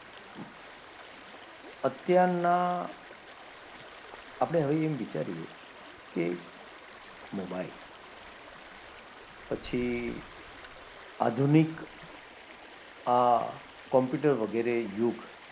અત્યારના આપણે હવે એમ વિચારીએ કે મોબાઈલ પછી આધુનિક આ કોમ્પ્યુટર વગેરે યુગ,